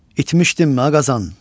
İtmişdinmi ağazadan?